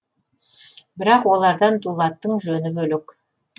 бірақ олардан дулаттың жөні бөлек